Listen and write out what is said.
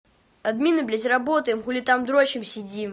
админы блять безработаем хули там дрочим сидим